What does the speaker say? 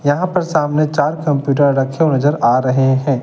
यहां पर सामने चार कंप्यूटर रखे नजर आ रहे हैं।